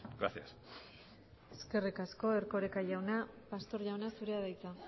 gracias eskerrik asko erkoreka jauna pastor jauna zurea da hitza